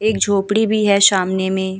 एक झोपड़ी भी है सामने में --